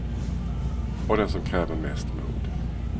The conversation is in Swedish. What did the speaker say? Och den som kräver mest mod.